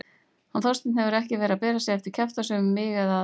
Hann Þorsteinn hefur ekki verið að bera sig eftir kjaftasögum um mig eða aðra.